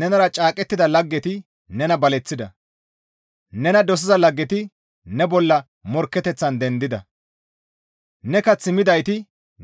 Nenara caaqettida laggeti nena baleththida; nena dosiza laggeti ne bolla morkketeththan dendida; ne kath midayti